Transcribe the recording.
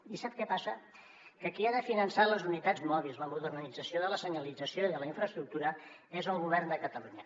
i sap què passa que qui ha de finançar les unitats mòbils la modernització de la senyalització i de la infraestructura és el govern de catalunya